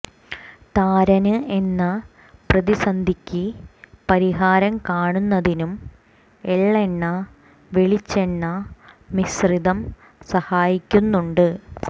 താരന് എന്ന പ്രതിസന്ധിക്ക് പരിഹാരം കാണുന്നതിനും എള്ളെണ്ണ വെളിച്ചെണ്ണ മിശ്രിതം സഹായിക്കുന്നുണ്ട്